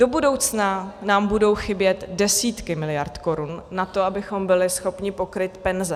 Do budoucna nám budou chybět desítky miliard korun na to, abychom byli schopni pokrýt penze.